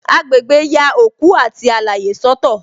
Agbegbe ya òkú àti alaye soto